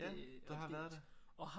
Ja du har været der